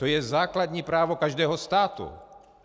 To je základní právo každého státu!